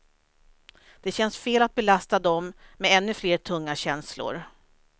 Det känns fel att belasta dem med ännu fler tunga känslor.